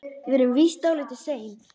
Við erum víst dálítið sein.